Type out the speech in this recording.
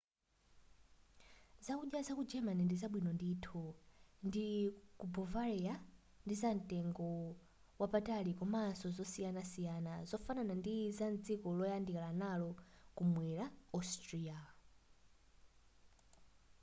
zakudya zaku germany ndi zabwino ndithu ndi ku bovaria ndizamtengo wapatali komanso zosiyanasiyana zofanana ndi za dziko loyandikana nalo kumwera austria